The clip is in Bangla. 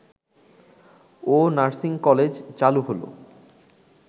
ও নার্সিং কলেজ চালু হলো